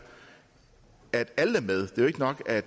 at alle er med det er ikke nok at